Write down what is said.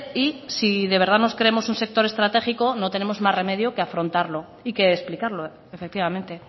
y si de verdad nos creemos un sector estratégico no tenemos más remedio que afrontarlo y que explicarlo efectivamente